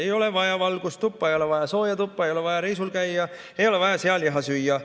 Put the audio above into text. Ei ole vaja valgust tuppa, ei ole vaja sooja tuppa, ei ole vaja reisil käia, ei ole vaja sealiha süüa.